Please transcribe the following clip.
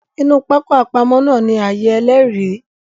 Inu pákó àpamọ̀ náà ni ààyè Ẹlẹ́rìí